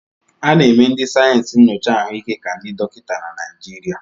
A na-eme ndị sayensị nyocha ahụike ka ndị dọkịta na Naịjirịa.